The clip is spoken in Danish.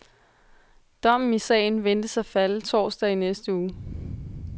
Dommen i sagen ventes at falde torsdag i næste uge.